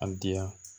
A diya